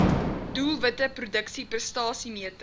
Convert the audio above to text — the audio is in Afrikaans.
doelwitte produksie prestasiemeting